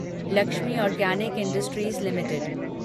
Lakshmi organic industries limited